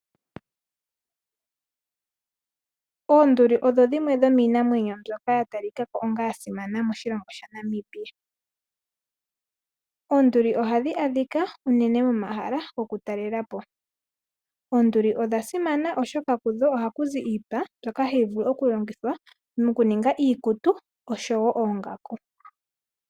Oonduli odho dhimwe dhomiinamweno mbyoka ya talika onga yasimana monamibia . Oonduli ohadhi adhika unene momahala goku talelapo. Oonduli odha simana oshoka kudho ohakuzi iipa mbyoka hayi ningi oongaku oshowo iikutu.